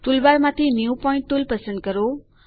ટુલબારમાંથી new point tool પસંદ કરો